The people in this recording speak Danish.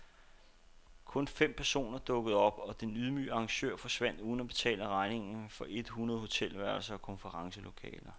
Kun fem personer dukkede op, og den ydmygede arrangør forsvandt uden at betale regningen for et hundrede hotelværelser og konferencelokaler.